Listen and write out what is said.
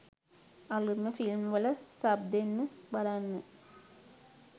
අලුත්ම ෆිල්ම් වල සබ් දෙන්න බලන්න.